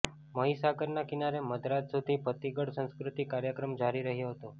મહિસાગરના કિનારે મધરાત સુધી ભાતિગળ સાંસ્કૃતિક કાર્યક્રમ જારી રહ્યા હતા